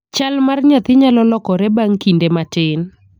Chal mar nyathi nyalo lokore bang' kinde matin.